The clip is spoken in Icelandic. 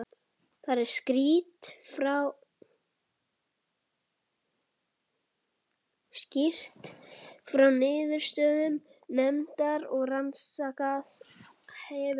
Þar er skýrt frá niðurstöðum nefndar sem rannsakað hefur mál